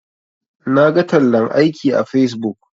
Naga tallan aiki a facebook.